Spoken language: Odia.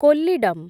କୋଲ୍ଲିଡମ୍